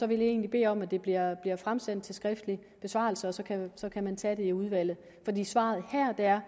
vil jeg egentlig bede om at det bliver fremsendt til skriftlig besvarelse og så kan så kan man tage det i udvalget svaret her er